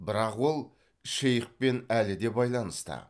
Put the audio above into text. бірақ ол шейхпен әлі де байланыста